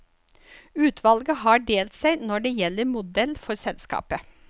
Utvalget har delt seg når det gjelder modell for selskapet.